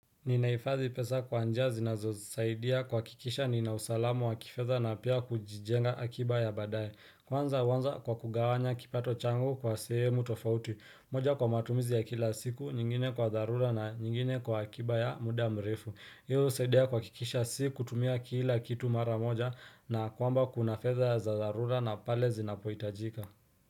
Ninahifadhi pesa kwa njia zinazosaidia kuhakikisha nina usalamu wa kifedha na pia kujijenga akiba ya badaye Kwanza huanza kwa kugawanya kipato changu kwa sehemu tofauti moja kwa matumizi ya kila siku, nyingine kwa dharura na nyingine kwa akiba ya muda mrefu hiyo husaidia kuhakikisha si kutumia kila kitu mara moja na kwamba kuna fedha za dharura na pale zinapohitajika.